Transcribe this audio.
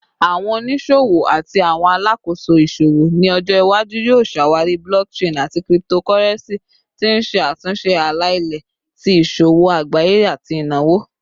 Awọn oniṣowo ati awọn alakoso iṣowo ni ojo iwaju yoo ṣawari blockchain ati cryptocurrency, ti n ṣe atunṣe ala-ilẹ ti iṣowo agbaye ati inawo